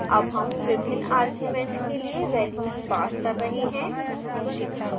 अब हम विभिन्न arguments के लिए values पास कर रहे हैं